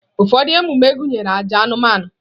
Ụfọdụ ememe gụnyere àjà anụmanụ.